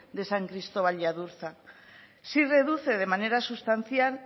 de san cristóbal y adurza sí reduce de manera sustancial